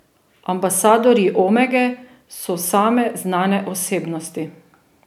Ambasadorji Omege so same znane osebnosti.